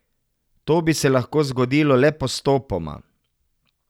To bi se lahko zgodilo le postopoma.